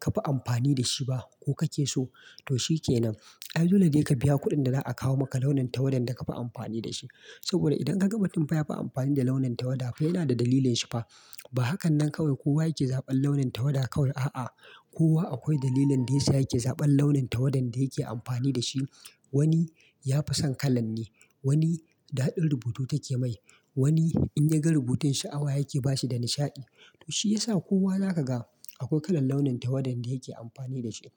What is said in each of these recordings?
ka fi amfani da shi ba ko kake so, to shi kenan. Ai dole ne ka biya kuɗin da za a kawo maka launin tawadan da ka fi amfani da shi. Saboda idan kaga mutun fa ya fi amfani da launin tawada fa yanada dalilin shi fa. Ba hakan nan kawai kowa yake zaɓan launin tawada kawai. A'a, kowa akwai dalilan da yasa yake zaɓan launin tawadan da yake amfani da shi. Wani ya fi son kalan ne, wani daɗin rubutu take mai, wani in ya ga rubutun shi awa yake bashi da nishaɗi. To shi ya sa kowa za ka ga akwai kalan launin tawadan da yake amfani da shi.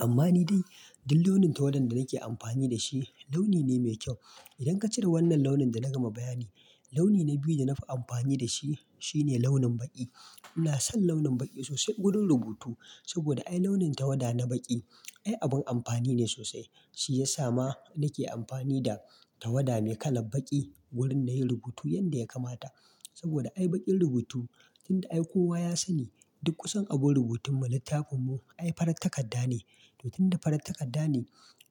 Amma ni dai duk launin tawadan da nake amfani da shi launi ne mai kyau. Idan ka cire wannan launin da na gama bayani, launi na biyu da na fi amfani da shi shine launin baƙi. Ina son launin baƙi sosai gurin rubutu. Saboda ai launin tawada na baƙi ai abin amfani ne sosai. Shi ya sa ma nake amfani da tawada mai kalan baƙi wurin na yi rubutu yanda ya kamata. Saboda ai baƙin rubutu tun da ai kowa ya sani duk kusan abu rubutun mu littafin mu ai farar takadda ne. To tun da farar takadda ne,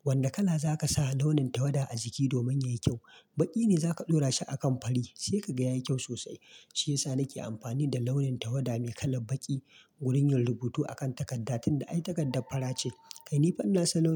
wane kala za ka sa launin tawada a jiki domin ya yi kyau? Baƙi ne za ka ɗora shi a kan fari sai ka ga ya yi kyau sosai. Shi ya sa nake amfani da launin tawada mai kalan baƙi gurin yin rubutu a kan takadda tun da ai takadda fara ce. Kai ni far ina son launin.